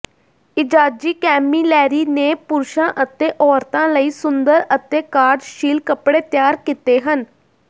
ਇਜ਼ਾਜੀ Camilleri ਨੇ ਪੁਰਸ਼ਾਂ ਅਤੇ ਔਰਤਾਂ ਲਈ ਸੁੰਦਰ ਅਤੇ ਕਾਰਜਸ਼ੀਲ ਕਪੜੇ ਤਿਆਰ ਕੀਤੇ ਹਨ